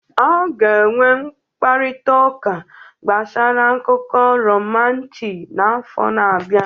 A ga-enwe mkparịta ụka gbasara akụkọ romanti n'afọ na-abịa